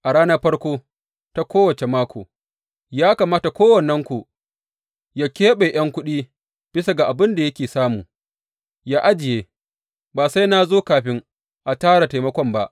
A ranar farko ta kowace mako, ya kamata kowannenku yă keɓe ’yan kuɗi bisa ga abin da yake samu, yă ajiye, ba sai na zo kafin a tara taimakon ba.